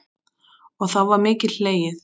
Og þá var mikið hlegið.